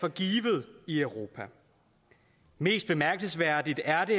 for givet i europa mest bemærkelsesværdigt er det